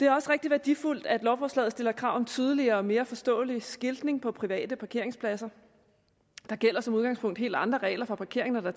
det er også rigtig værdifuldt at lovforslaget stiller krav om tydeligere og mere forståelig skiltning på private parkeringspladser der gælder som udgangspunkt helt andre regler for parkering når der